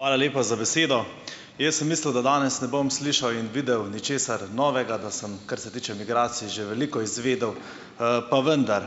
Hvala lepa za besedo. Jaz sem mislil, da danes ne bom slišal in videl ničesar novega, da sem, kar se tiče migracij, že veliko izvedel, pa vendar.